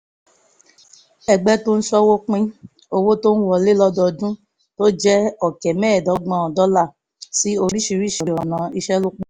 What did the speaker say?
ẹgbẹ́ tó ń ṣòwò pín owó tó ń wọlé lọ́dọọdún tó jẹ́ ọ̀kẹ́ mẹ́ẹ̀ẹ́dọ́gbọ̀n dọ́là sí oríṣiríṣi ọ̀nà ìṣelọ́pọ̀